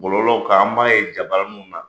Bɔlɔlɔw kan an b'a ye jabaraninw na